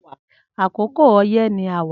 Akókó ọyẹ ni áwá